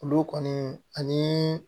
Olu kɔni ani